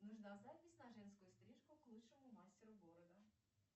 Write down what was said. нужна запись на женскую стрижку к лучшему мастеру города